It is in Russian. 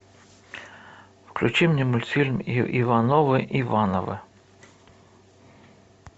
включи мне мультфильм ивановы ивановы